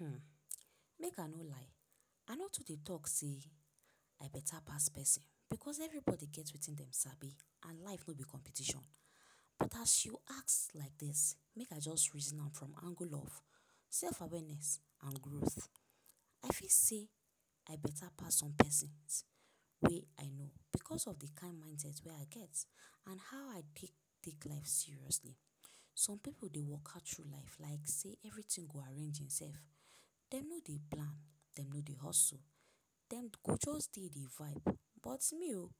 um Make I no lie, I no too dey talk sey I better pass pesin. Because everybody get wetin dem sabi and life no be competition. But as you ask like dis, make I just reason am from angle of self-awareness and growth. I fit say I better pass some pesins wey I know because of the kind mindset wey I get and how I take take life seriously. Some pipu dey waka through life like sey everything go arrange imself. Dem no dey plan, dem no dey hustle. Dem go just dey dey vibe. But me o,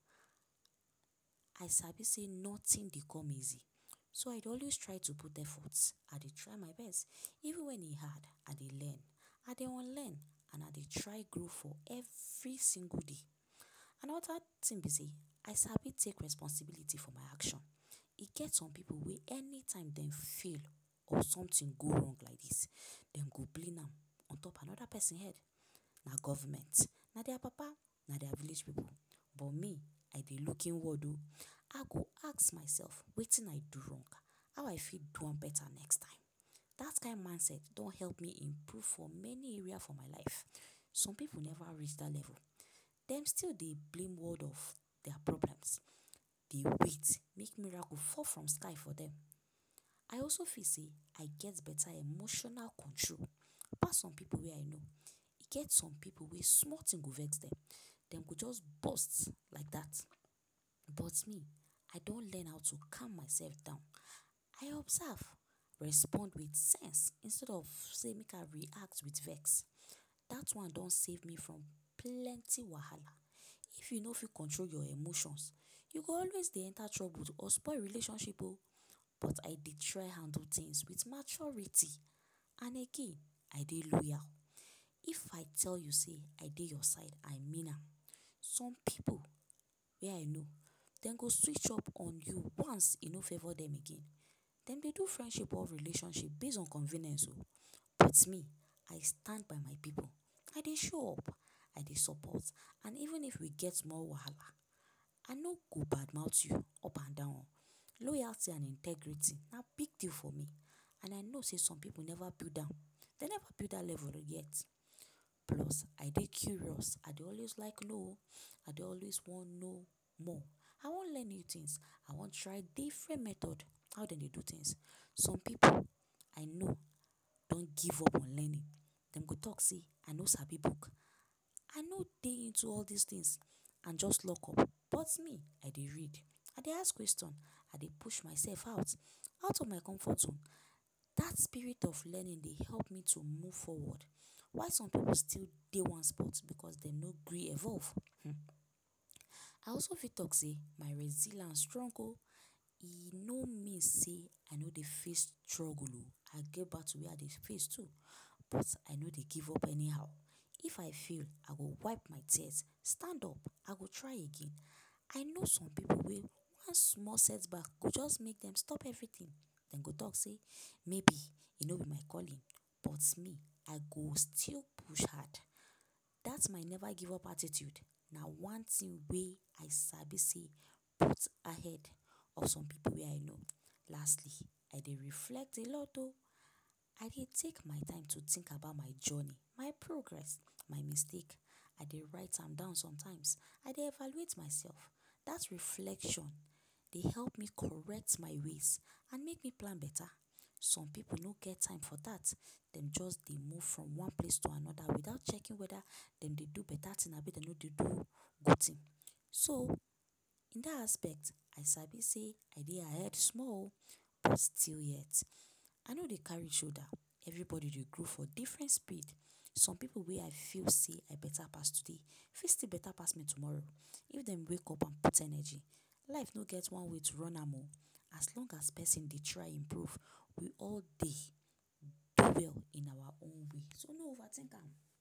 I sabi sey nothing dey come easy. So I dey always try to put effort, I dey try my best. Even when e hard, I dey learn, I dey unlearn and I dey try grow for every single day. Another thing be sey I sabi take responsibility for my action. E get some pipu wey anytime dem fail or something go wrong like dis, dem go blame am ontop another pesin head - na government, na dia papa, na dia relation. But me, I dey look inward o. I go ask myself ‘wetin I do wrong?’, ‘how I fit do am better next time?’ That kind mindset don help me improve for many area for my life. Some pipu never reach that level. Dem still dey blame all of dia, dey wait make miracle fall from sky for dem. I also feel sey I get better emotional control pass some pipu wey I know. E get some pipu wey small thing go vex dem, dem go just burst like that. But me, I don learn how to calm myself down, I observe, respond with sense instead of sey make I react with vex. That one don save me from plenty wahala. If you no fit control your emotions, you go always dey enter trouble or spoil relationship o. But I dey try handle things with maturity And again, I dey loyal. If I tell you sey I dey you side, I mean am. Some pipu wey I know, dem go switch up on you once e no favour dem again. Dem dey do friendship or relationship base on convenience o. But me, I stand by my pipu. I dey show up, I dey support. And even if we get small wahala, I no go badmouth you up and down. Loyalty and integrity na big deal for me and I know sey some pipu never build am. Dem never build that level yet. Plus, I dey curious. I dey always like know o. I dey always wan know more. I wan learn new things. I wan try different method of how de dey do things. Some pipu, I know, don give upon learning. Dem go talk sey ‘I no sabi book, I no dey into all dis things and just lockup’. But me, I dey read, I dey ask question, I dey push myself out; out of my comfort zone. That spirit of learning dey help me to move forward while some pipu still dey one spot because dem no gree evolve hmm. I also fit talk sey my resilance strong o! E no mean sey I no dey face struggle o. I get battle wey I dey face too, but I no dey give up anyhow. If I fail, I go wipe my tears, stand up, I go try again. I know some pipu wey one small setback go just make dem stop everything. Dem go talk sey maybe e no be my calling. But me, I go still push hard. That my never-give-up attitude na one thing wey I sabi sey put ahead of some pipu wey I know. Lastly, I dey reflect a lot o! I dey take my time to think about my journey, my progress, my mistake. I dey write am down sometimes. I dey evaluate myself. That reflection dey help me correct my ways and make me plan better. Some pipu no get time for that, dem just dey move from one place to another without checking whether dem dey do better thing abi dem no dey do good thing. So, in that aspect I sabi sey I dey ahead small o, but still yet, I no dey carry shoulder. Everybody dey grow for different speed. Some pipu wey I feel sey I better pass today fit still better pass me tomorrow if dem wake up and put energy. Life no get one way to run am o, as long as pesin dey try improve, we all dey do well in awa own way. So, no overthink am.